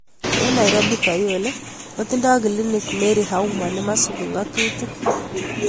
Eng' Nairobi Kayole kotindo kilinik Mary Auma nemasubi ngatutik.